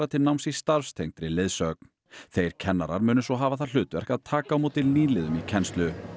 til náms í leiðsögn þeir kennarar munu svo hafa það hlutverk að taka á móti nýliðum í kennslu